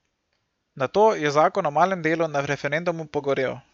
Nato je zakon o malem delu na referendumu pogorel.